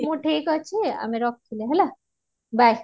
ହଉ ଠିକ ଅଛି ଆମେ ରଖିଲୁ bye